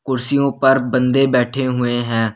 कुर्सियों पर बंदे बैठे हुए हैं।